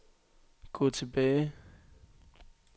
gå tilbage